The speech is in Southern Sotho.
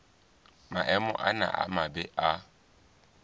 maemo ana a mabe a